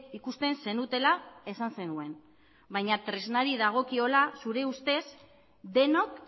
ikusten zenutela esan zenuen baina tresnari dagokiola aure ustez denok